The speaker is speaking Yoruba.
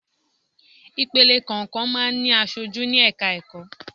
Ìpele kọ̀ọ̀kan máa ń ní aṣojú ní ẹ̀ka ẹ̀kọ́.